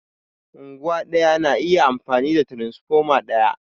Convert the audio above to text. Unguwa ɗaya na iya amfani da tiransfoma ɗaya